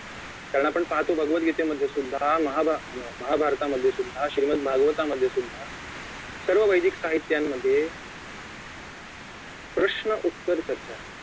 कारण आपण पाहतो भागवतगीते मध्ये सुद्धा महाभा अं महाभारतामध्ये सुद्धा श्रीमत भागवतामध्ये सुद्धा सर्व वैदिक साहित्यामध्ये प्रश्न उत्तर चर्चा आहे